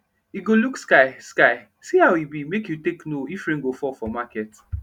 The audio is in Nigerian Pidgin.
you go look sky sky see how e be make you take know if rain go fall for market